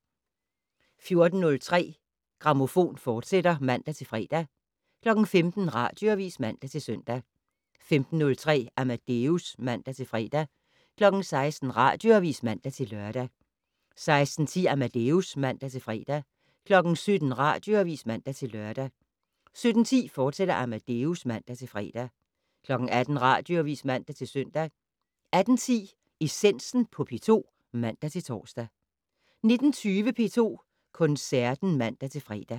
14:03: Grammofon, fortsat (man-fre) 15:00: Radioavis (man-søn) 15:03: Amadeus (man-fre) 16:00: Radioavis (man-lør) 16:10: Amadeus (man-fre) 17:00: Radioavis (man-lør) 17:10: Amadeus, fortsat (man-fre) 18:00: Radioavis (man-søn) 18:10: Essensen på P2 (man-tor) 19:20: P2 Koncerten (man-fre)